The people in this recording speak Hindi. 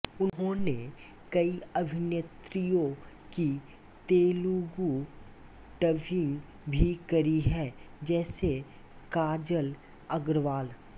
उन्होनें कई अभिनेत्रीयों की तेलुगू डबिंग भी करी है जैसेकाजल अग्रवाल